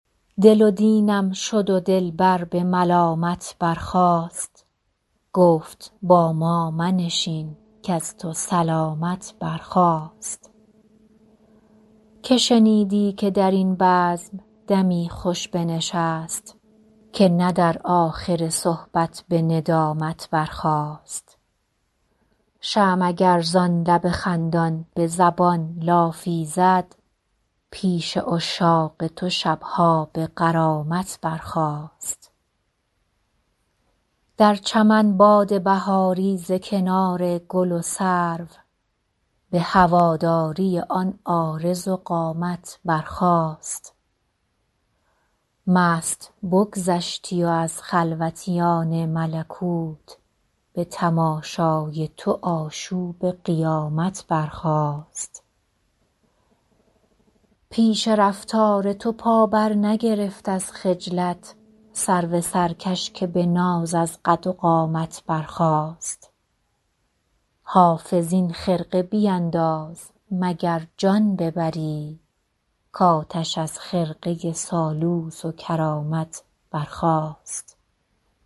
دل و دینم شد و دلبر به ملامت برخاست گفت با ما منشین کز تو سلامت برخاست که شنیدی که در این بزم دمی خوش بنشست که نه در آخر صحبت به ندامت برخاست شمع اگر زان لب خندان به زبان لافی زد پیش عشاق تو شب ها به غرامت برخاست در چمن باد بهاری ز کنار گل و سرو به هواداری آن عارض و قامت برخاست مست بگذشتی و از خلوتیان ملکوت به تماشای تو آشوب قیامت برخاست پیش رفتار تو پا برنگرفت از خجلت سرو سرکش که به ناز از قد و قامت برخاست حافظ این خرقه بینداز مگر جان ببری کآتش از خرقه سالوس و کرامت برخاست